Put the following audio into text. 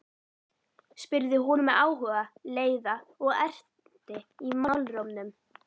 spurði hún með áhuga, leiða og ertni í málrómnum.